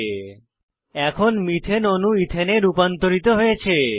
এখন methane methane অণু এথানে ইথেন এ রূপান্তরিত হয়েছে